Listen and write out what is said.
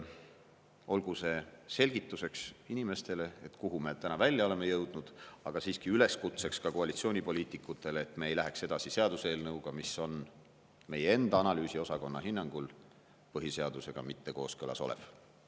Olgu see inimestele selgituseks, kuhu me täna välja oleme jõudnud, aga siiski ka üleskutseks koalitsioonipoliitikutele, et me ei läheks edasi seaduseelnõuga, mis on meie enda analüüsiosakonna hinnangul põhiseadusega mitte kooskõlas olev.